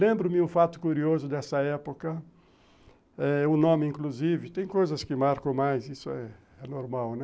Lembro-me um fato curioso dessa época, eh o nome inclusive, tem coisas que marcam mais, isso é normal, né?